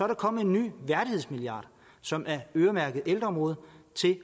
der kommet en ny værdighedsmilliard som er øremærket ældreområdet